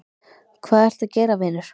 hvað ertu að gera vinur????